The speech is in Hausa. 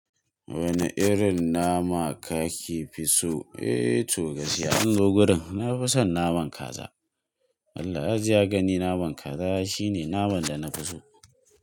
Wane irin nama kake fi so? Eh to gaskiya an zo gurin na fi son naman kaza. Allah ya ji ya gani naman kaza shine naman da na fi so.